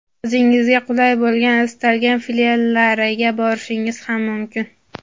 o‘zingizga qulay bo‘lgan istalgan filiallariga borishingiz ham mumkin.